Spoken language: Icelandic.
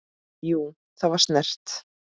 Jú, það var snert